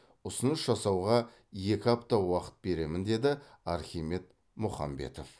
ұсыныс жасауға екі апта уақыт беремін деді архимед мұхамбетов